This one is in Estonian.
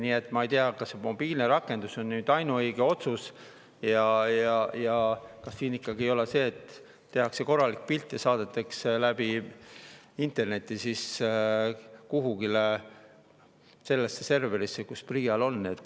Nii et ma ei tea, kas see mobiilne rakendus on nüüd ainuõige otsus ja kas ikkagi ei ole nii, et tehakse korralik pilt ja saadetakse läbi interneti kuhugi serverisse, mis PRIA‑l on.